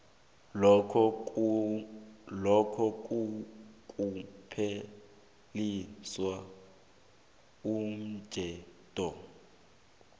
lokha nakupheliswa umtjhado